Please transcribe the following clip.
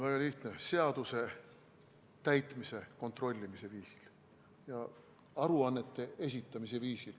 Väga lihtne: seaduse täitmise kontrollimise viisil, aruannete esitamise viisil.